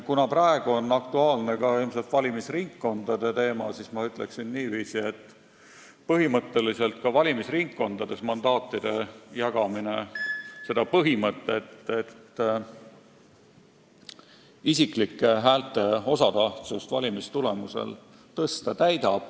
Kuna praegu on ilmselt aktuaalne valimisringkondade teema, siis ma ütleksin niiviisi, et ka valimisringkondades täidab mandaatide jagamine seda põhimõtet, et isiklike häälte osatähtsust valimistulemusel tuleb tõsta.